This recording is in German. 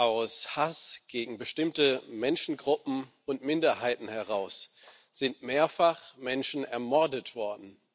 Aus Hass gegen bestimmte Menschengruppen und Minderheiten sind mehrfach Menschen ermordet worden.